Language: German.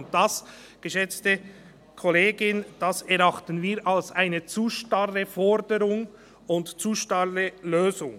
Und das, geschätzte Kollegin, erachten wir als eine zu starre Forderung und zu starre Lösung.